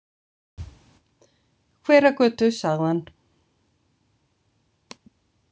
Hveragötu, sagði hann.